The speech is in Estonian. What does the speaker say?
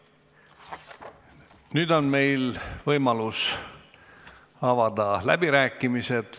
Nüüd on meil võimalus avada läbirääkimised.